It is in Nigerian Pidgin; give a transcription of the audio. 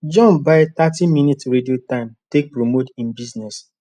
john buy thirty minutes radio time take promote hin business